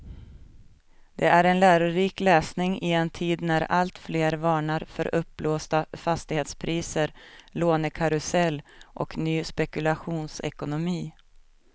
Det är en lärorik läsning i en tid när alltfler varnar för uppblåsta fastighetspriser, lånekarusell och ny spekulationsekonomi.